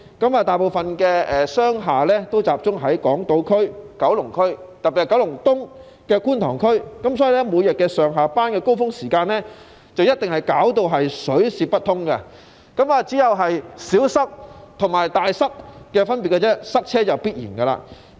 由於大部分商業大廈也集中在港島區和九龍區，特別是九龍東的觀塘區，所以，每天上下班的高峰時間，交通便一定水泄不通，有的只是"小塞"和"大塞"的分別，交通擠塞是必然的。